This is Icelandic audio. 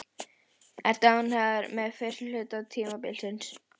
Ertu ánægður með fyrri hluta tímabilsins?